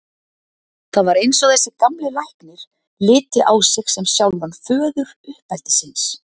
Það var eins og þessi gamli læknir liti á sig sem sjálfan föður uppeldisins.